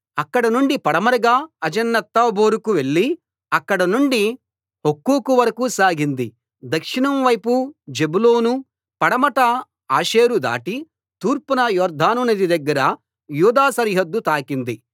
అక్కడనుండి పడమరగా అజనోత్తాబోరుకు వెళ్లి అక్కడనుండి హుక్కోకు వరకూ సాగింది దక్షిణం వైపు జెబూలూను పడమట ఆషేరు దాటి తూర్పున యొర్దాను నది దగ్గర యూదా సరిహద్దు తాకింది